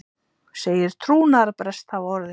Segir trúnaðarbrest hafa orðið